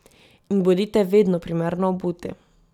In bodite vedno primerno obuti.